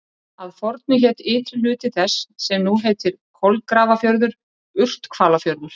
Að fornu hét ytri hluti þess sem nú heitir Kolgrafafjörður Urthvalafjörður.